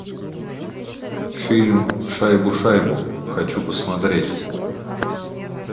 фильм шайбу шайбу хочу посмотреть